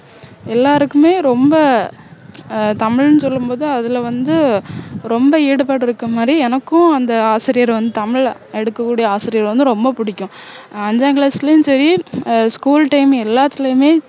எல்லாருக்குமே ரொம்ப ஆஹ் தமிழ்னு சொல்லும்போது அதுல வந்து ரொம்ப ஈடுபாடு இருக்குற மாதிரி எனக்கும் அந்த ஆசிரியர் வந்து தமிழ எடுக்கக்கூடிய ஆசிரியர் வந்து ரொம்ப புடிக்கும் ஆஹ் அஞ்சாம் class லயும் சரி ஆஹ் school time எல்லாத்துலேயுமே